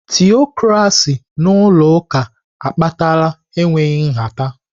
Tịọkracị n'ụlọ ụka akpatala enweghị nhata.